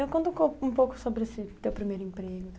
Então, conta um pouco sobre o seu primeiro emprego.